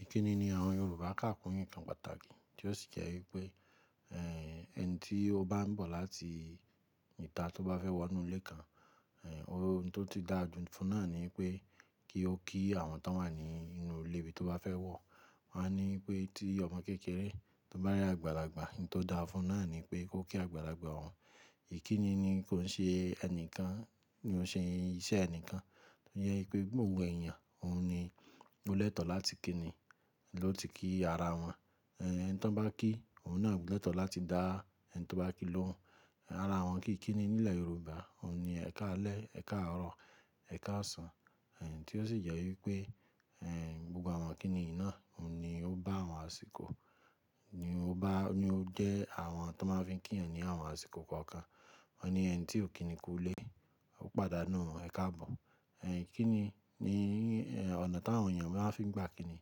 Ìkíni ni àwọn Yorùbá kàkún nkan pàtàkì tí ó sì jẹ́ wípé, ẹ̀, ẹni tí ó bá ń bọ̀ láti ìta tó bá fẹ́ wọ inú ilé kan, ohun tó ti dáa jù ú fún náà ni pé kí ó kí àwọn tó wà ní inú ilé bí tó bá fẹ́ wọ̀. Wọ́n á ní pé tí ọmọ kékeré tó bá rí àgbàlagbà, n tó dáa fún náà ni pé kó kí àgbàlagbà òun. Ìkíni ni kó ń ṣe ẹnìkan ni ó ń ṣe iṣẹ́ ẹnìkan. Ó jẹ́ wípé gbogbo èèyàn, òun ni ó lẹ́tọ̀ọ́ láti kíni, ló ti kí ara wọn. Ẹ̀ ẹni tí wọ́n bá kí, òun náà leto láti dá ẹni tí ó bá kí lóhun. Ara àwọn kíikíni nílẹ̀ Yorùbá òun ni ẹ̀ka alẹ́, ẹ̀ka àárọ̀, ẹ̀ka ọ̀sán, tí ó sì jẹ́ wípé, gbogbo àwọn ikíni yii náà òun ni ó bá àwọn àsìkò, ni ó bá, ni ó jẹ́ àwọn tó máa ń fi kí èèyàn ní àwọn àsìkò kọ̀ọ̀kan. Wọ́n ni ẹni tí ò kíni kú ilé, ó pàdánù ẹ̀ka àbò. Ẹ̀, kíni ni, ọ̀nà tí àwọn èèyàn maa fi ń gbà kíni.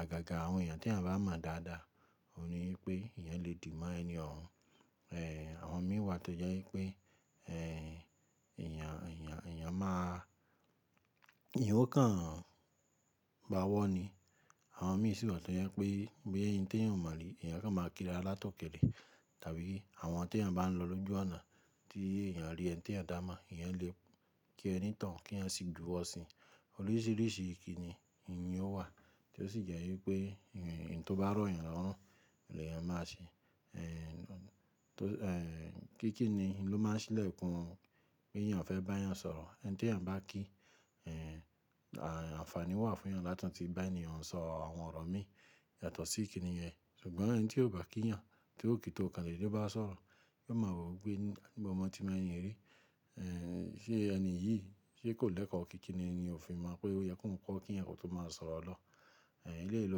Àgàgà àwọn èèyàn tí à ń bá mọ̀ dáadáa, òun ni wípé ìyẹn le dì má ẹni òhun. Àwọn mí wà tó jẹ́ wípé, èèyàn, èèyàn, èèyàn máa, eyan o kan bá wọ́ ni. Àwọn mí sì wà tó ye pé boya ẹni tí èèyàn ò mọ̀ rí, èèyàn kàn máa kíra látọ̀kẹ́lẹ̀. Tàbí àwọn tí èèyàn bá ń lọ lójú ọ̀nà tí èèyàn rí ẹni tí èèyàn dá a mọ̀, ìyẹn le kí ẹni toun kí ẹyan sì juwo sìn ín. Oríṣiríṣi ìkíni ini owa tí ó sì jẹ́ wípé, ẹ̀, ẹni tí ó bá rọ̀ èèyàn lọ́rùn ni èèyàn máa ṣe. Tó, kíikíni ló máa ń ṣílẹ̀kùn pé èèyàn fẹ́ bá èèyàn sọ̀rọ̀. Ẹni tí èèyàn bá kí, à, àǹfààní wà fún èèyàn láti tí bá èèyàn sọ àwọn ọ̀rọ̀ mí yàtọ̀ sí ikíni yẹn. Ṣùgbọ́n ẹni tí ò bá kí èèyàn, tí ó kì í tó ọ̀kandede bá sọ̀rọ̀, yóò máa wò wípé níbo mó tí mo ẹni yi rí. Ṣe ẹni yìí ṣe kò lẹ́kọ̀ọ́ kíikíni ni òfin máa mọ́ pé ó yẹ kóhun kó kí yan kí ó tó máa sọ̀rọ̀ lọ. Eléyìí ló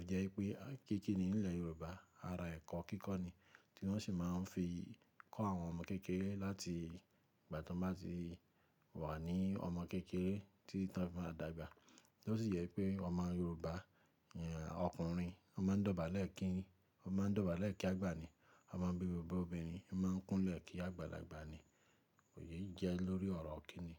fi jẹ́ wípé kíikíni nílẹ̀ Yorùbá ara ẹ̀kọ́ kíkọ́ ni tí wọ́n sì máa ń fi kọ́ àwọn ọmọ kékeré láti ìgbà tí wọ́n bá ti wà ní ọmọ kékeré títí tó bá ti dàgbà. Tí ó sì yẹ pé ọmọ Yorùbá, ìyẹn ọkùnrin, ó máa ń dọ̀bálẹ̀ kí, ó máa ń dọ̀bálẹ̀ kí àgbà ni. Ọmọ bíbí, ọmọbìnrin, ó máa ń kúnlẹ̀ kí àgbàlagbà ni. Èyí jẹ́ lórí ọ̀rọ̀ kíni.